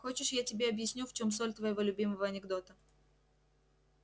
хочешь я тебе объясню в чём соль твоего любимого анекдота